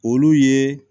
Olu ye